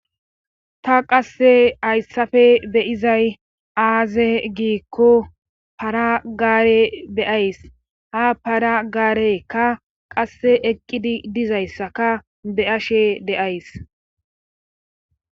Ta qasse hayssafe beyizay aaze giikko para-gaare beyays ha para gaarekka qasse eqqidi dizayssaka be'ashe deays